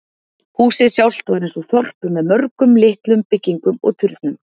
Húsið sjálft var eins og þorp með mörgum litlum byggingum og turnum.